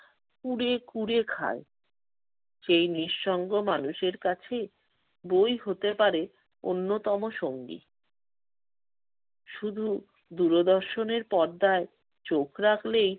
কুড়ে কুড়ে খায়। সেই নিঃসঙ্গ মানুষের কাছে বই হতে পারে অন্যতম সঙ্গী। শুধু দূরদর্শনের পর্দায় চোখ রাখলেই